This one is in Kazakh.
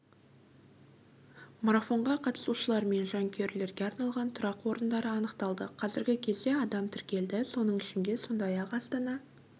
марафонға қатысушылар мен жанкүйерлерге арналған тұрақ орындары анықталды қазіргі кезде адам тіркелді соның ішінде сондай-ақ астана